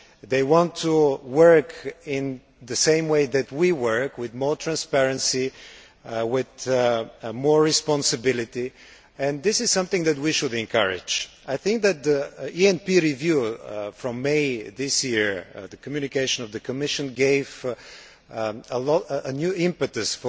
They want to work in the same way that we work, with more transparency, with more responsibility, and this is something that we should encourage. I think that with the ENP review in May this year, the Communication of the Commission gave the policy a new impetus